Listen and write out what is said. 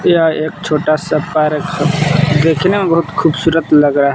यह एक छोटा सा पार्क है दिखने में बहुत खूबसूरत लग रहा है।